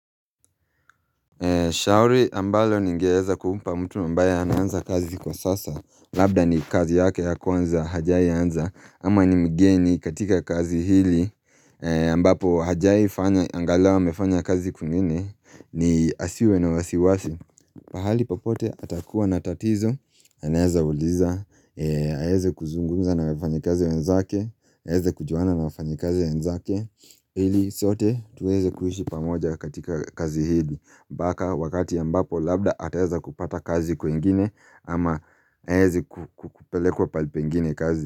Shauri ambalo ningeeza kumpa mtu ambaye anaanza kazi kwa sasa Labda ni kazi yake ya kwanza hajai anza ama ni mgeni katika kazi hili ambapo hajai fanya angalau amefanya kazi kwingine ni asiwe na wasiwasi pahali popote atakuwa na tatizo anaeza uliza aeze kuzungumza na wafanyikazi wenzake aeze kujuana na wafanyikazi wenzake ili sote tuweze kuishi pamoja katika kazi hili mpaka wakati ambapo labda ataweza kupata kazi kwengini ama aeze kupwelekwa pahali pengine kazi.